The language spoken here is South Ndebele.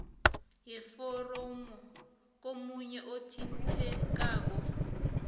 yeforomo komunye othintekako